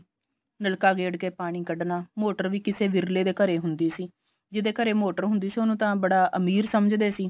ਨਲਕਾ ਗੇੜ ਕੇ ਪਾਣੀ ਕੱਡਣਾ ਮੋਟਰ ਵੀ ਕਿਸੇ ਵਿਰਲੇ ਦੇ ਘਰੇ ਹੁੰਦੀ ਸੀ ਜਿਹਦੇ ਘਰੇ ਮੋਟਰ ਹੁੰਦੀ ਸੀ ਉਹਨੂੰ ਤਾਂ ਬੜਾ ਅਮੀਰ ਸਮਝਦੇ ਸੀ